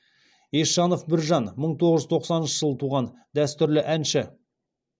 есжанов біржан мың тоғыз жүз тоқсаныншы жылы туған дәстүрлі әнші